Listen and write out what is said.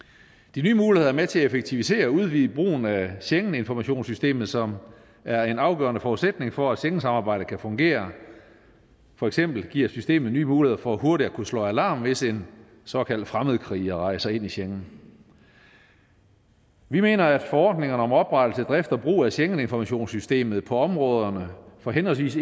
de nye muligheder er med til at effektivisere og udvide brugen af schengeninformationssystemet som er en afgørende forudsætning for at schengensamarbejdet kan fungere for eksempel giver systemet nye muligheder for hurtigt at kunne slå alarm hvis en såkaldt fremmedkriger rejser ind i schengen vi mener at forordningerne om oprettelse af drift og brug af schengeninformationssystemet på områderne for henholdsvis